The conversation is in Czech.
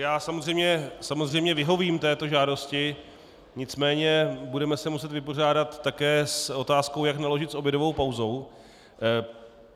Já samozřejmě vyhovím této žádosti, nicméně se budeme muset vypořádat také s otázkou, jak naložit s obědovou pauzou.